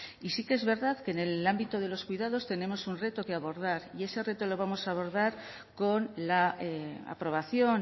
y sí que es verdad que en el ámbito de los cuidados tenemos un reto que abordar y ese reto lo vamos a abordar con la aprobación